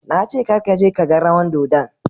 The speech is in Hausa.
Na ce Kar ka je ka gan rawan dodon.